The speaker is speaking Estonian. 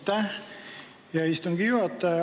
Aitäh, hea istungi juhataja!